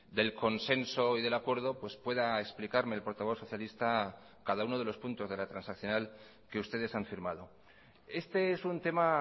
del consenso y del acuerdo pues pueda explicarme el portavoz socialista cada uno de los puntos de la transaccional que ustedes han firmado este es un tema